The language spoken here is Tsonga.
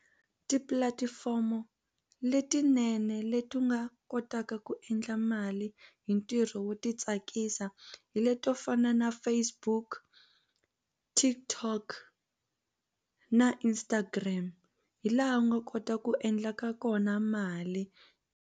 Tipulatifomo letinene leti u nga kotaka ku endla mali hi ntirho wo ti tsakisa hi leti to fana na Facebook, TikTok na Instagram hi laha u nga kota ku endlaka kona mali.